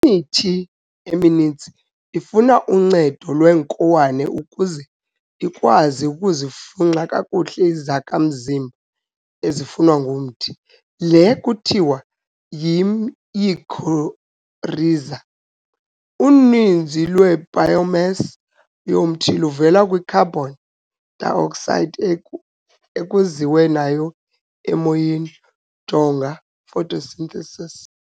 Imithi emininzi ifuna uncedo lweenkowane ukuze ikwazi ukuzifunxa kakuhle izakha mzimba ezifunwa ngumthi- le ke kuthiwa yimycorrhiza. Uninzi lweibiomass yomthi luvela kwicarbon dioxide ekuziwe nayo emoyeni, jonga photosynthesis.